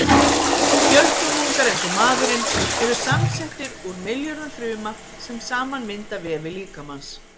Fjölfrumungar eins og maðurinn eru samsettir úr milljörðum fruma, sem saman mynda vefi líkamans.